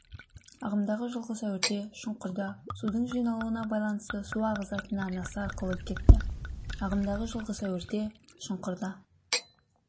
ағымдағы жылғы сәуірде шұңқырда судың жиналуына байланысты су ағызатын арнасы арқылы кетті ағымдағы жылғы сәуірде шұңқырда